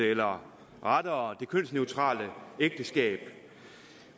eller rettere det kønsneutrale ægteskab